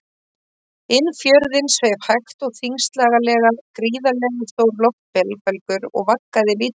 Inn fjörðinn sveif hægt og þyngslalega gríðarlega stór loftbelgur og vaggaði lítillega.